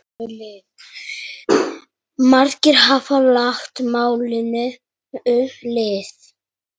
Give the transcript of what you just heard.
Margir hafa lagt málinu lið.